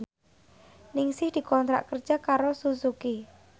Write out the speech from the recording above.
Ningsih dikontrak kerja karo Suzuki